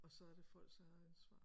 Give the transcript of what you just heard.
Og så er det folks eget ansvar